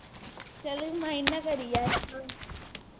ਚਲ mind ਨਾ ਕਰੀ ਯਾਰ